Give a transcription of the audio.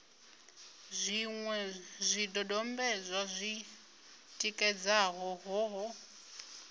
zwiṅwe zwidodombedzwa zwi tikedzaho ṱhoho